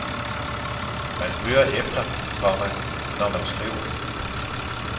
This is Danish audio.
Man hører efter, komma når han skriver. punktum